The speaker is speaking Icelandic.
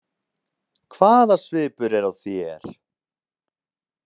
Hvaða svipur er á þér!